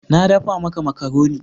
Na dafa maka makaroni.